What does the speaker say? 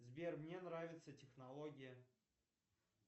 сбер мне нравится технология